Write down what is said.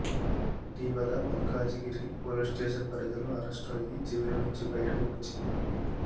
ఇటీవల Malkajgiri police station పరిధిలో arrest అయి జైలు నుంచి బయటకు వచ్చింది